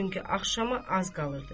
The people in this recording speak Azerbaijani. Çünki axşama az qalırdı.